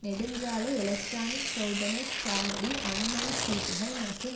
நெடுஞ்சாலை எலக்ட்ரானிக் சோதனை சாவடி அனுமதிச் சீட்டுகள் மற்றும்